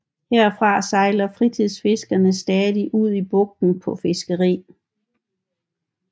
Herfra sejler fritidsfiskere stadig ud i bugten på fiskeri